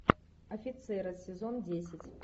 офицеры сезон десять